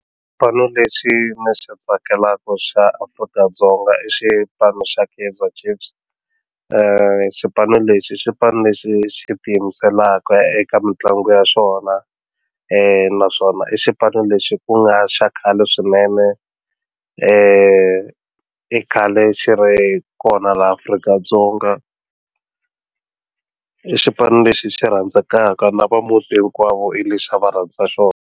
Xipanu lexi ni xi tsakelaku xa Afrika-Dzonga i xipano xa Kaizer Chiefs xipano lexi xipano lexi xi ti yimiselaka eka mitlangu ya swona naswona i xipano lexi ku nga xa khale swinene i khale xi ri kona laha Afrika-Dzonga i xipano lexi xi rhandzekaka na va muti hinkwavo hi lexi a va rhandza xona.